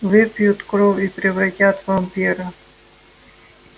выпьют кровь и превратят в вампира